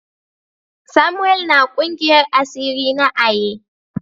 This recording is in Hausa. Samuel na kungiyar asiri na Aye.